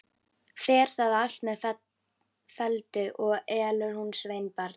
Fer það allt með felldu, og elur hún sveinbarn.